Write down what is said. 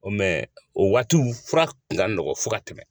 O o waatiw fura kun ka nɔgɔn fo ka tɛmɛ.